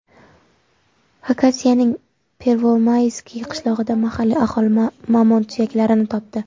Xakasiyaning Pervomayskiy qishlog‘ida mahalliy aholi mamont suyaklarini topdi.